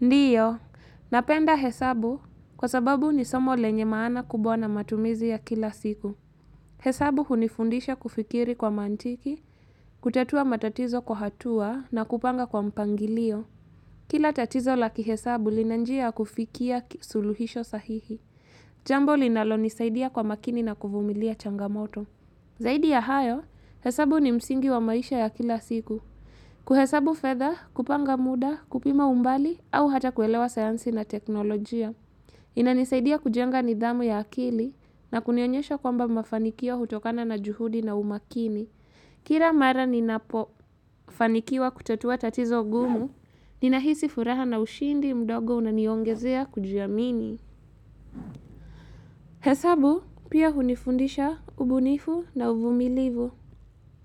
Ndio, napenda hesabu kwa sababu ni somo lenye maana kubwa na matumizi ya kila siku. Hesabu hunifundisha kufikiri kwa mantiki, kutatua matatizo kwa hatua na kupanga kwa mpangilio. Kila tatizo la kihesabu lina njia ya kufikia suluhisho sahihi. Jambo linalo nisaidia kwa makini na kuvumilia changamoto. Zaidi ya hayo, hesabu ni msingi wa maisha ya kila siku. Kuhesabu fedha, kupanga muda, kupima umbali au hata kuelewa sayansi na teknolojia. Inanisaidia kujenga nidhamu ya akili na kunionyesha kwamba mafanikio hutokana na juhudi na umakini. Kila mara ninapofanikiwa kutatua tatizo gumu, ninahisi furaha na ushindi mdogo unaniongezea kujiamini. Hesabu pia hunifundisha ubunifu na uvumilivu.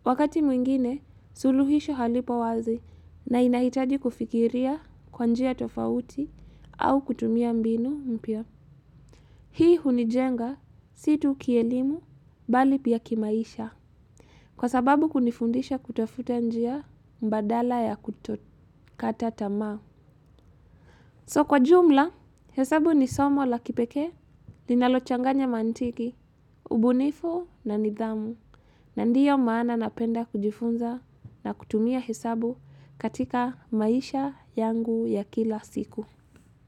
Wakati mwingine, suluhisho halipo wazi na inahitaji kufikiria kwa njia tofauti au kutumia mbinu mpya. Hii hunijenga, si tu kielimu, bali pia kimaisha. Kwa sababu kunifundisha kutofuta njia mbadala ya kutokata tamaa. So kwa jumla, hesabu ni somo la kipekee, ninalochanganya mantiki, ubunifu na nidhamu. Na ndiyo maana napenda kujifunza na kutumia hesabu katika maisha yangu ya kila siku.